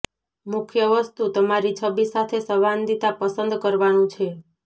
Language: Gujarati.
મુખ્ય વસ્તુ તમારી છબી સાથે સંવાદિતા પસંદ કરવાનું છે